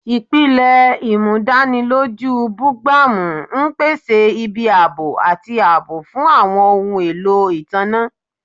Ipilẹ-imudaniloju bugbamu n pese ibi aabo ati aabo fun awọn ohun elo itanna.